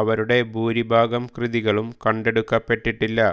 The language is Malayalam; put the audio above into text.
അവരുടെ ഭൂരിഭാഗം കൃതികളും കണ്ടെടുക്കപ്പെട്ടിട്ടില്ല